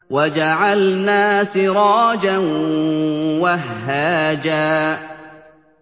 وَجَعَلْنَا سِرَاجًا وَهَّاجًا